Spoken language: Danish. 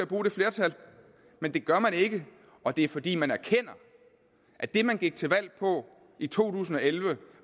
bruge det flertal men det gør man ikke og det er fordi man erkender at det man gik til valg på i to tusind og elleve